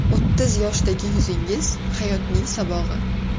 O‘ttiz yoshdagi yuzingiz – hayotning sabog‘i.